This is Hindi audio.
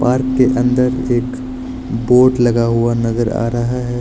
पार्क के अंदर एक बोर्ड लगा हुआ नजर आ रहा है।